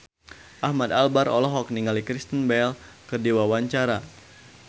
Ahmad Albar olohok ningali Kristen Bell keur diwawancara